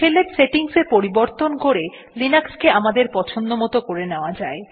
শেলের সেটিংস এ পরিবর্তন করে লিনাক্স কে আমাদের পছন্দমত করে নেওয়া যায়